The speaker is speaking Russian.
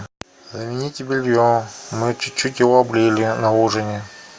замените белье мы чуть чуть его облили на ужине